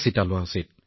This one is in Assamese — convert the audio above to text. নিশ্চিতভাৱে মহোদয়